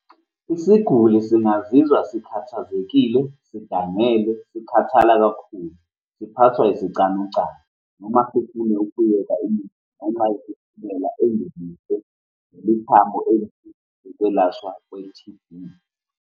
Isiguli singazizwa sikhathazekile, sidangele, sikhathala kakhulu, siphathwe isicanucanu, noma ukwelashwa kwe-T_B.